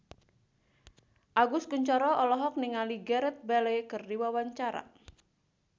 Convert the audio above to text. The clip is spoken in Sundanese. Agus Kuncoro olohok ningali Gareth Bale keur diwawancara